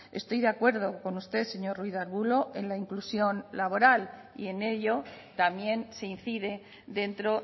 estoy de acuerdo con usted señor ruiz de arbulo en la inclusión laboral y en ello también se incide dentro